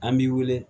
An b'i wele